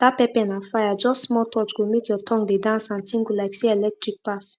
dat pepper na fire just small touch go make your tongue dey dance and tingle like say electric pass